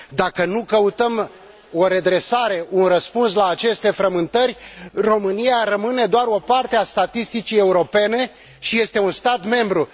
Dacă nu căutăm o redresare, un răspuns la aceste frământări, România rămâne doar o parte a statisticii europene și este totuși un stat membru!